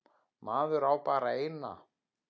Maður á bara eina.